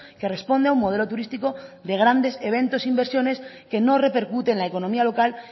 que responde a un modelo turístico de grandes eventos e inversiones que no repercute en la economía local